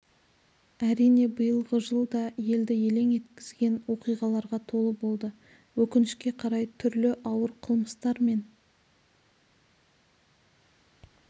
әрине биылғы жыл да елді елең еткізген оқиғаларға толы болды өкінішке қарай түрлі ауыр қылмыстар мен